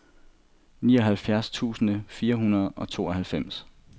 nioghalvfjerds tusind fire hundrede og tooghalvfems